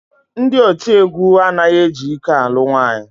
Ndị otiegwu anaghị eji ike alụ nwaanyị